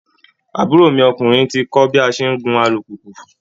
Àbúrò mi ọkùnrin ti kọ́ bí a ṣe ń gun alùpùpù